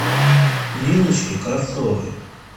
ниночки кравцовой